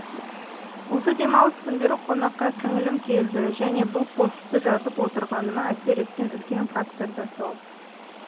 осы демалыс күндері қонаққа сіңілім келді және бұл постты жазып отырғаныма әсер еткен үлкен фактор да сол